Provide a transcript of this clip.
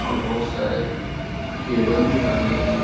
और बहुत सारे केबल भी टंग रहे हैं।